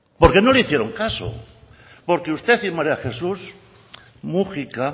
porque no le hicieron caso porque usted y maría jesús múgica